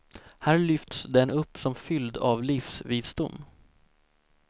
Här lyfts den upp som fylld av livsvisdom.